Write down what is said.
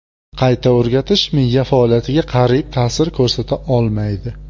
Qayta o‘rgatish miya faoliyatiga qariyb ta’sir ko‘rsata olmaydi.